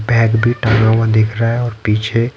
bag भी टंगा हुआ दिख रहा है और पीछे--